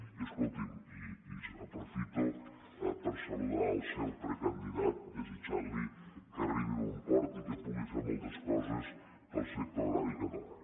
i escolti’m aprofito per saludar el seu precandidat i li desitjo que arribi a bon port i que pugui fer moltes coses pel sector agrari català